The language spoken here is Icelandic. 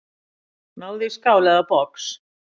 Náðu í skál eða box.